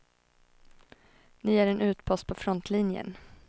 Ni är en utpost på frontlinjen.